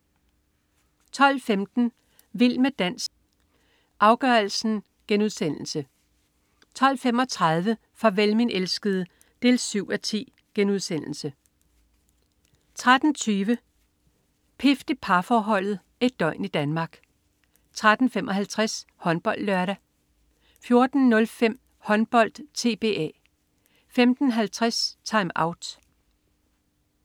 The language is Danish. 12.15 Vild med dans, afgørelsen* 12.35 Farvel min elskede 7:10* 13.20 Pift i parforholdet. Et døgn i Danmark 13.55 HåndboldLørdag 14.05 Håndbold: TBA 15.50 TimeOut